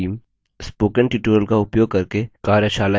spoken tutorials का उपयोग करके कार्यशालाएँ भी चलाती है